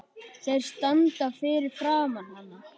Þeir standa fyrir framan hana.